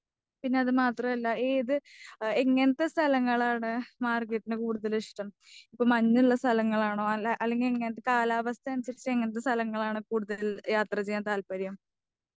പിന്നെ അത് മാത്രവുമല്ല ഏ ഇത് എങ്ങനത്തെ സ്ഥലങ്ങളാണ് മാർഗരറ്റിന് കൂടുതൽ ഇഷ്ടം. ഇപ്പം മഞ്ഞുള്ള സ്ഥലങ്ങളാണോ? അല്ല അല്ലങ്കിൽ കാലാവസ്ഥ അനുസരിച്ചു എങ്ങനത്തെ സ്ഥലങ്ങളാണ് കൂടുതൽ യാത്ര ചെയ്യാൻ താല്പര്യം.